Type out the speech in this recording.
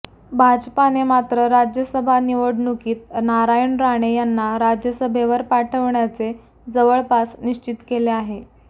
भाजपाने मात्र राज्यसभा निवडणुकीत नारायण राणे यांना राज्यसभेवर पाठविण्याचे जवळपास निश्चित केले आहे